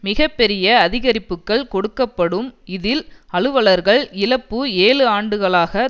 மிக பெரிய அதிகரிப்புக்கள் கொடுக்க படும் இதில் அலுவலர்கள் இழப்பு ஏழு ஆண்டுகளாக